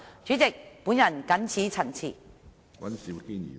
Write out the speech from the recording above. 主席，我謹此陳辭。